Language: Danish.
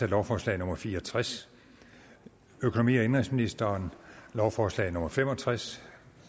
lovforslag nummer fire og tres økonomi og indenrigsministeren lovforslag nummer fem og tres